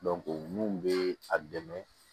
mun be a dɛmɛ